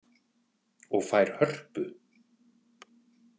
Og fær hörpu?